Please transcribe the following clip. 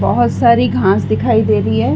बहुत सारी घांस दिखाई दे रही है।